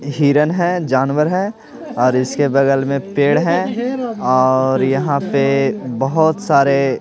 हिरन है जानवर है और इसके बगल में पेड़ है और यहाँ पे बहुत सारे--